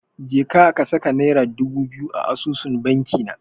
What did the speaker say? Jeka ka saka Naira dubu biyu a asusun bankina.